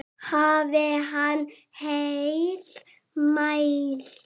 Hafi hann heill mælt.